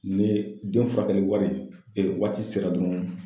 Ni den furakɛli wari sera dɔrɔn